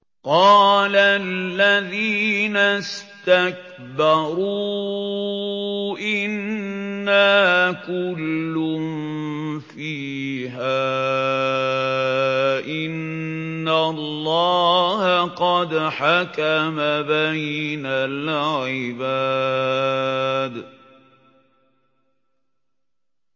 قَالَ الَّذِينَ اسْتَكْبَرُوا إِنَّا كُلٌّ فِيهَا إِنَّ اللَّهَ قَدْ حَكَمَ بَيْنَ الْعِبَادِ